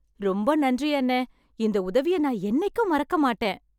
ரொம்ப நன்றி அண்ணே, இந்த உதவிய நான் என்னைக்கும் மறக்க மாட்டேன்